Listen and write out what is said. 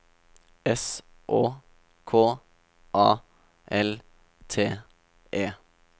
S Å K A L T E